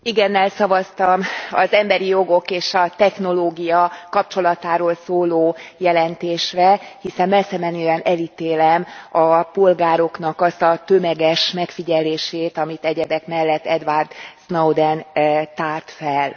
Igennel szavaztam az emberi jogok és a technológia kapcsolatáról szóló jelentésre, hiszen messzemenően elítélem a polgároknak azt a tömeges megfigyelését, amit egyebek mellett Edward Snowden tárt fel.